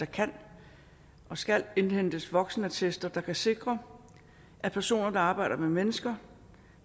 kan og skal indhentes voksenattester der kan sikre at personer der arbejder med mennesker